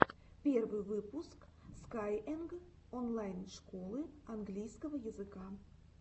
первый выпуск скайэнг онлайн школы английского языка